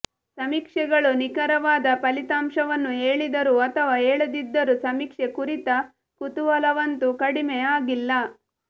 ಸಮೀಕ್ಷೆಗಳು ನಿಖರವಾದ ಫಲಿತಾಂಶವನ್ನು ಹೇಳಿದರೂ ಅಥವಾ ಹೇಳದಿದ್ದರೂ ಸಮೀಕ್ಷೆ ಕುರಿತ ಕುತೂಹಲವಂತೂ ಕಡಿಮೆ ಆಗಿಲ್ಲ